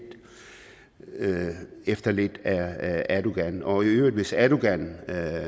efter lidt af erdogan og i øvrigt hvis erdogan